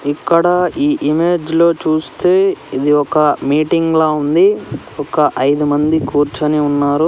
ఇక్కడ ఈ ఇమేజ్ లో చూస్తే ఇది ఒక మీటింగ్ లా ఉంది ఒక ఐదు మంది కూర్చుని ఉన్నారు.